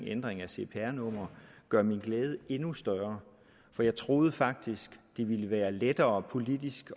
ændring af cpr nummer gør min glæde endnu større for jeg troede faktisk det ville være lettere politisk